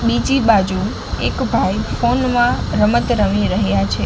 બીજી બાજુ એક ભાઈ ફોન માં રમત રમી રહ્યા છે.